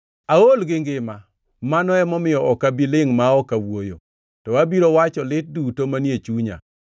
“Aol gi ngima; mano emomiyo ok abi lingʼ ma ok awuoyo, to abiro wacho lit duto manie chunya.